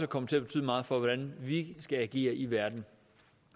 komme til at betyde meget for hvordan vi skal agere i verden